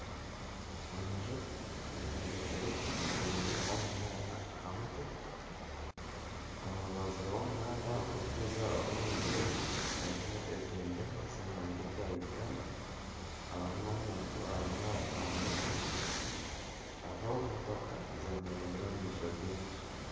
Enju eyombekire gye eine omunaara aha mutwe, omu rubaju rw'omuhanda ogurikuza ow'enju egi harimu ebendera ez'eihanga erya Uganda, harimu nana omuntu arimu natambura, hariho motoka zemereire omu maisho g'enju.